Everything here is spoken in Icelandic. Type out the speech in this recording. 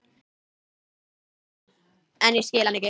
En ég skil hann ekki.